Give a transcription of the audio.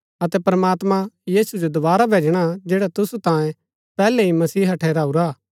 अतै प्रमात्मां यीशु जो दोवारा भैजणा जैडा तुसु तांयें पैहलै ही मसीहा ठहराऊरा हा